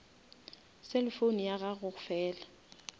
cellphone ya gago fela